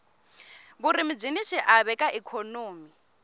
vurimi byini xiave ka ikhonomi